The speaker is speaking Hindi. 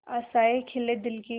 आशाएं खिले दिल की